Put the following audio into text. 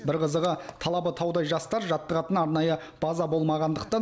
бір қызығы талабы таудай жастар жаттығатын арнайы база болмағандықтан